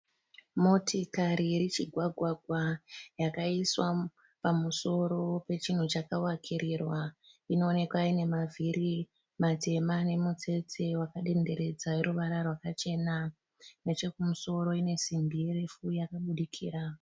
Motikari irichigwagwagwa yakaiswa pamusoro pechinhu chakavakirirwa . Inoonekwa ine mavhiri matema nemutsetse wakadenderedza weruvara rwakachena. Nechekumusoro ine simbi refu yakabudikira.